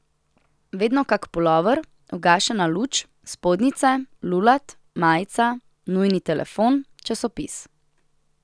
Vedno kak pulover, ugašena luč, spodnjice, lulat, majica, nujni telefon, časopis.